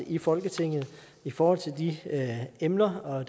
i folketinget for de emner og